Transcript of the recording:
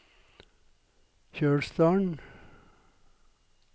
Kjølsdalen